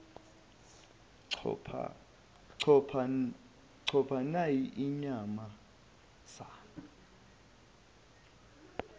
chopho nayi inyamazane